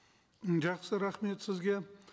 м жақсы рахмет сізге